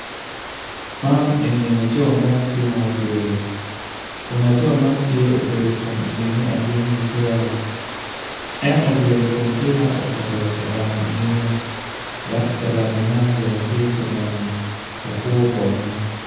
Man eni tye laco mo ma obedo tuk kun winyo man opito tyene aryo odwoko angec winyo man oyaro bome kun tye ka tuk dogwinyo man tye ma lakwo bongo.